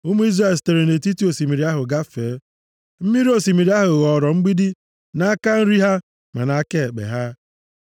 Ụmụ Izrel sitere nʼetiti osimiri ahụ gafee. Mmiri osimiri ahụ ghọọrọ mgbidi nʼaka nri ha ma nʼaka ekpe ha.